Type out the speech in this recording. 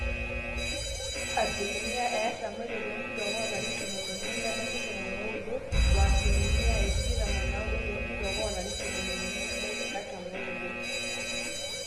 asilimia 46% toonkituaak oolarin tomon oimiet nebaiki tomon ooudo o asilimia 29% toonkituaak oolarin tomoniuni nebaiki artam ooudo